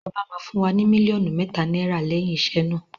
Ọba máa fún wa ní mílíọ̀nù mẹ́ta náírà lẹ́yìn iṣẹ́ náà.